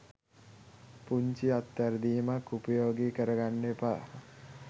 පුංචි අත් වැරදීමක් උපයෝගී කරගන්න එපා.